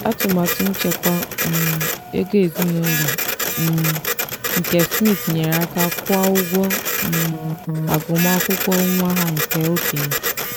atụmatụ nchekwa um ego ezinụlọ um nke smith nyere aka kwụọ ụgwọ um agụmakwụkwọ nwa ha nke okenye.